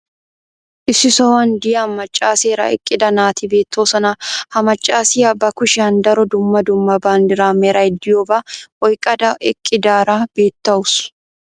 Issi sohuwan diya macaaseera eqqida naati beetoosona. Ha macaassiya ba kushiyan daro dumma dumma bandiraa meray diyoobaa oyqqada eqqidaara beetawusu.